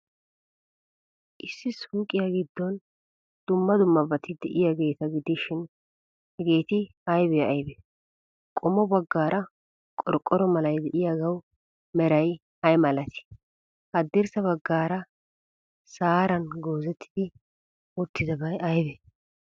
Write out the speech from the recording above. Issi suuqiyaa giddon dumma dummabati de'iyaageeta gidishin, hegeeti aybee aybee? Qommo baggaara qorqqoro malay de'iyaagawu meray ay malatii? Haddirssa baggaara saharan goozetti uttidabay aybee?